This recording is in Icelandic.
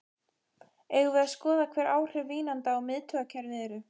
Eigum við að skoða hver áhrif vínanda á miðtaugakerfið eru?